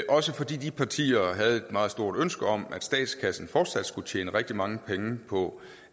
også fordi de partier havde et meget stort ønske om at statskassen fortsat skulle tjene rigtig mange penge på